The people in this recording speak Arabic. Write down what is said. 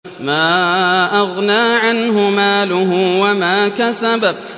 مَا أَغْنَىٰ عَنْهُ مَالُهُ وَمَا كَسَبَ